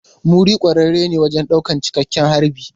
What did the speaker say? Muri kwararre ne wajen daukar cikakken harbi.